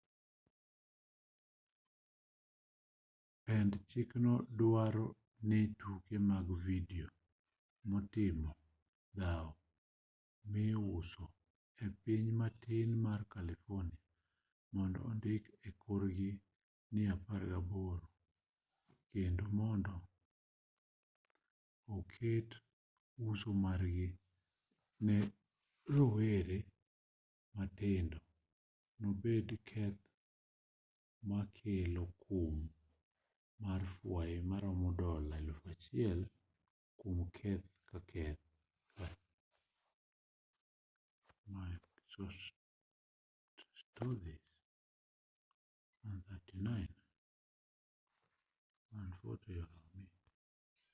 pend chikno duaro ni tuke mag vidio motimo dhao miuso e piny matin mar carlifornia mondo ondiki e korgi ni 18 kendo mondo oket uso margi ne rowere matindo obed keth makelo kum mar fwai maromo dola $1000 kuom keth ka keth